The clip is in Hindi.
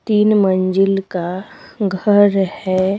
तीन मंजिल का घर है।